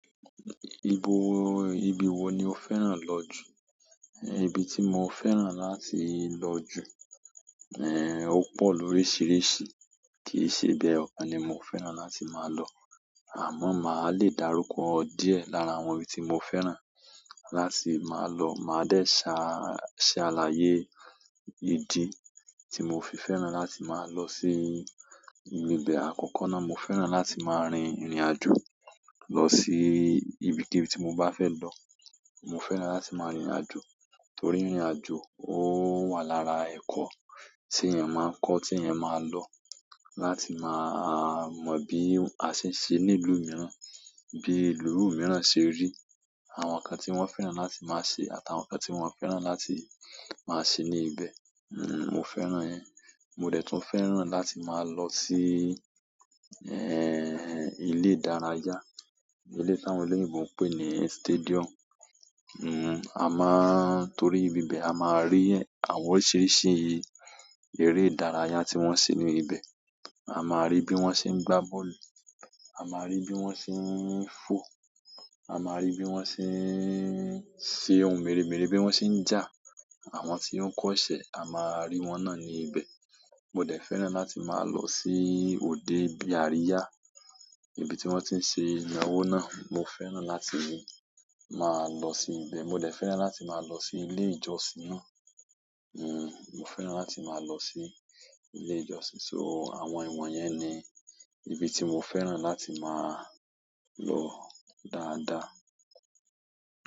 Ibo, ibi wo ni o fẹ́ràn lọ jù? Ibi tí mo fẹ́ràn láti lọ jù, eh, ó pọ̀ lóríṣiríṣi, kì í ṣe ibi ey'ọ̀kan ni mo fẹ́ràn láti máa lọ. Àmọ́ máa lè dárúkọ díẹ̀ lára àwọn ibi tí mo fẹ́ràn láti máa lọ. Màá dẹ́ ṣá, ṣé aláyé, idi tí mo fi fẹ́ràn láti máa lọ sí ibi bẹ́ẹ̀. Àkọ́kọ́ náà mo fẹ́ràn láti máa rin ìrìnàjò lọ sí ibikíbi tí mo bá fẹ́ lọ. Mo fẹ́ràn láti máa rìnrìnàjò torí ìrìnàjò ó wà lára ẹ̀kọ́ tí èèyàn máa ń kọ́, tí èèyàn máa lọ, láti máa mọ bí a ṣe ń ṣe ní ìlú mìíràn, bí ìlú mìíràn ṣe rí, àwọn nǹkan tí wọ́n fẹ́ràn láti máa ṣe àtàwọn nǹkan tí wọ́n fẹ́ràn láti máa ṣe ní ibẹ̀. N, mo fẹ́ràn yen. Mo dẹ̀ tún fẹ́ràn láti máa lọ sí, ẹh, ilé ìdárayá, ilé tí àwọn olóyìnbo ń pè ní stadium. N, a máa-- torí ibibẹ̀ a máa ri àwọn oríṣiríṣi eré ìdárayá tí wọ́n ṣe ní ibẹ̀. A máa rí bí wọ́n ṣe ń gbá bọ́ọ̀lù, a máa rí bí wọ́n ṣe ń fọ, a máa rí bí wọ́n ṣe ń ṣe ohun mère mère, bí wọ́n ṣe ń jà. Àwọn tí o ń kọ́ṣẹ́ a máa rí wọn náà ní ibẹ̀. Mo dẹ̀ fẹ́ràn láti máa lọ sí òde bí àríyá, ibi tí wọ́n ti ń ṣe ìyanwó náà, mo fẹ́ràn láti máa lọ sí ibẹ̀. Mo dẹ̀ fẹ́ràn láti máa lọ sí ilé ìjọsìn náà. Hmm, mo fẹ́ràn láti máa lọ sí ilé ìjọsìn. So, àwọn ìwọ̀nyẹn ni ibi tí mo fẹ́ràn láti máa lọ dáadáa.